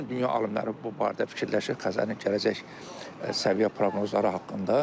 Bütün dünya alimləri bu barədə fikirləşir Xəzərin gələcək səviyyə proqnozları haqqında.